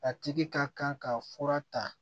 A tigi ka kan ka fura ta